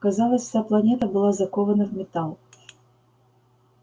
казалось вся планета была закована в металл